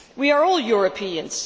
We are all Europeans.